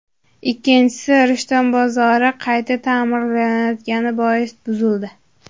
Ikkinchisi Rishton bozori qayta ta’mirlanayotgani bois buzildi.